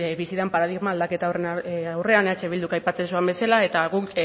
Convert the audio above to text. bizi den paradigma aldaketa horren aurrean eh bilduk aipatzen zuen bezala eta guk